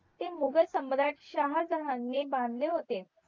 ते मुघल सम्राट शहाजहान ने बांधले होते